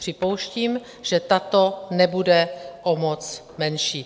Připouštíme, že tato nebude o moc menší.